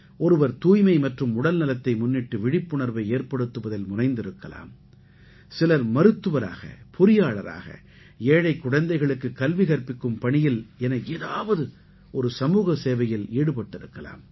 ஒருவர் தூய்மை மற்றும் உடல்நலத்தை முன்னிட்டு விழிப்புணர்வை ஏற்படுத்துவதில் முனைந்திருக்கலாம் சிலர் மருத்துவராக பொறியாளராக ஏழைக் குழந்தைகளுக்கு கல்வி கற்பிக்கும் பணியில் என ஏதாவது ஒரு சமூக சேவையில் ஈடுபட்டிருக்கலாம்